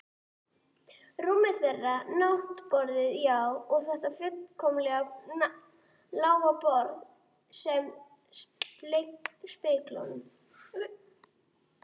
Rúmið þeirra, náttborðin, já, og þetta furðulega lágborð með speglunum.